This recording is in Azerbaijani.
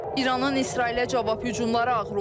İranın İsrailə cavab hücumları ağır olub.